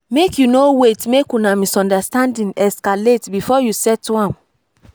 make you no wait make una misunderstanding escalate before you settle am.